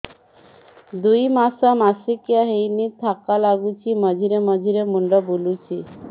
ଦୁଇ ମାସ ମାସିକିଆ ହେଇନି ଥକା ଲାଗୁଚି ମଝିରେ ମଝିରେ ମୁଣ୍ଡ ବୁଲୁଛି